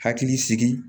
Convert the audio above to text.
Hakili sigi